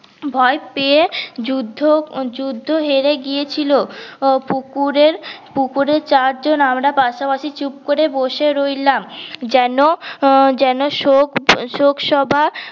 ভয় পেয়ে যুদ্ধ যুদ্ধ হেরে গিয়েছিল পুকুরের পুকুরের চার জন আমরা পাশাপাশি চুপ করে বসে রইলাম যেন যেন শোক শোকসভা